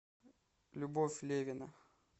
любовь левина